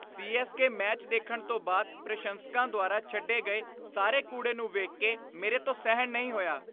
CSK. Match ਦੇਖਣ ਤੋਂ ਬਾਅਦ ਪ੍ਰਸ਼ੰਸਕਾਂ ਦੁਆਰਾ ਛੱਡੇ ਗਏ ਸਾਰੇ ਕੂੜੇ ਨੂੰ ਵੇਖ ਕੇ ਮੇਰੇ ਤੋਂ ਸਹਿਣ ਨਹੀਂ ਹੋਇਆ।